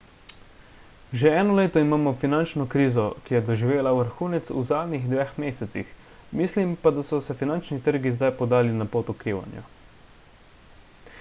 že eno leto imamo finančno krizo ki je doživela vrhunec v zadnjih dveh mesecih mislim pa da so se finančni trgi zdaj podali na pot okrevanja